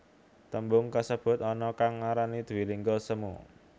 Tembung kasebut ana kang ngarani dwilingga semu